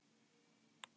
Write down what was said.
Sest hjá mér á dívaninn.